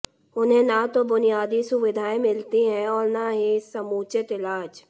उन्हें न तो बुनियादी सुविधाएं मिलती हैं और न ही समुचित इलाज